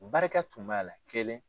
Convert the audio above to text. Barika tun b'a la kelen